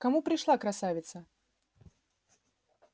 к кому пришла красавица